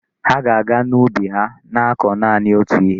Ha ga-aga ubi ha na-akọ naanị otú ihe.